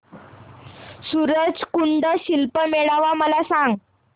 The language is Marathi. सूरज कुंड शिल्प मेळावा मला सांग